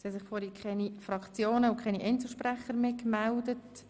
Es haben sich keine Fraktionen und keine Einzelsprecher mehr gemeldet.